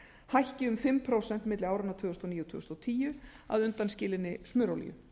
hækki um fimm prósent milli áranna tvö þúsund og níu og tvö þúsund og tíu að undanskilinni smurolíu